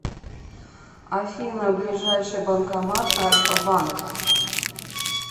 афина ближайший банкомат альфа банк